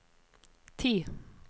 ti